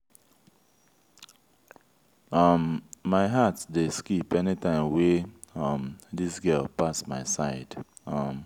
um my heart dey skip any time wey um dis girl pass my side. um